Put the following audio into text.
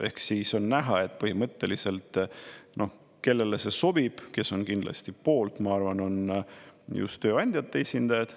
Ehk siis on näha, et põhimõtteliselt kellele see sobib, kes on kindlasti poolt, ma arvan, on just tööandjate esindajad.